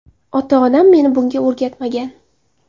Ota-onam meni bunga o‘rgatmagan.